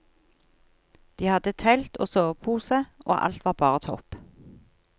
De hadde telt og sovepose og alt var bare topp.